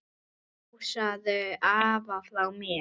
Knúsaðu afa frá mér.